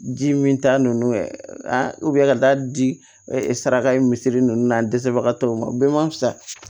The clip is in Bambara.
Ji min ta nun ye an ka taa di ɛ saraka misiri ninnu na an dɛsɛbagatɔw ma bɛɛ ma fisa